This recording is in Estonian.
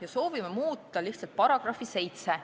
Me soovime muuta lihtsalt § 7.